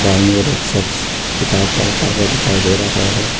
बाईं ओर एक शख्स किताब पढ़ता हुआ दिखाई दे रहा है।